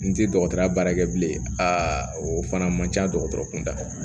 N ti dɔgɔtɔrɔya baara kɛ bilen a fana man ca dɔgɔtɔrɔkun da la